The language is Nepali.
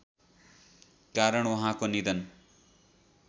कारण उहाँको निधन